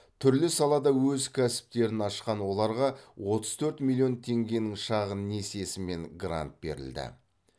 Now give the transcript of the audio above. түрлі салада өз кәсіптерін ашқан оларға отыз төрт миллион теңгенің шағын несиесі мен грант берілді